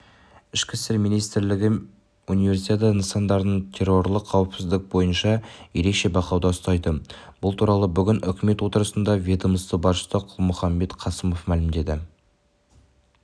ішкі істер министрлігі универсиада нысандарын террорлық қауіпсіздік бойынша ерекше бақылауда ұстайды бұл туралы бүгін үкімет отырысында ведомства басшысы қалмұханбет қасымов мәлімдеді